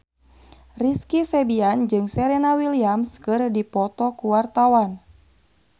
Rizky Febian jeung Serena Williams keur dipoto ku wartawan